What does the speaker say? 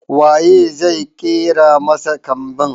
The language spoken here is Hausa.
Wa ye zai ƙera masa kambin?